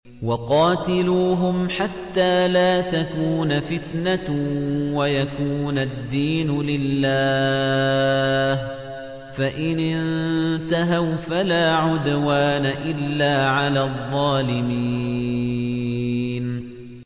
وَقَاتِلُوهُمْ حَتَّىٰ لَا تَكُونَ فِتْنَةٌ وَيَكُونَ الدِّينُ لِلَّهِ ۖ فَإِنِ انتَهَوْا فَلَا عُدْوَانَ إِلَّا عَلَى الظَّالِمِينَ